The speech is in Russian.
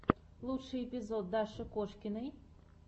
лучший эпизод даши кошкиной